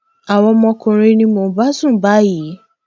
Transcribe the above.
àwọn ọmọkùnrin ni mò ń bá sùn báyìí